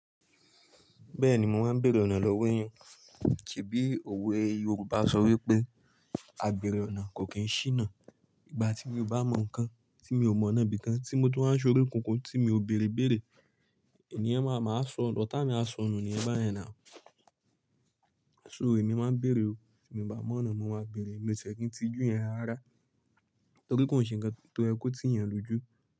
Bẹ́ẹ̀ni mo máa ń bèèrè ọ̀nà lọ́wọ́ èèyàn. Se bíí òwe Yorùbá sọ wípé, "Àbèrè ọ̀nà kò kí ń ṣíná." Ìgbà tí mo bá mọ̀ nǹkan, tí mo ò mọ̀ náà bí i kan, tí mo tún ń ṣorí kunkun tí mi ò bèèrè ìbèèrè, ènìyàn máa máa sọ, ọ́tá mi a sọ nù ni yẹn bá yẹn nà. So ẹmi máa ń bèèrè o, ti èmi o bá mọ̀ ọ́nà mo máa bèèrè. Mo ti e kí ń tijú yẹn rará, tori kó n ṣe nǹkan tó yẹ ko tí yan lójú.